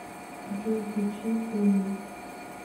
джой включи тэмин